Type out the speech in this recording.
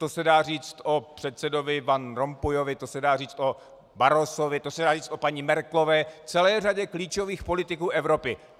To se dá říct o předsedovi Van Rompuyovi, to se dá říct o Barrosovi, to se dá říct o paní Merkelové, celé řadě klíčových politiků Evropy.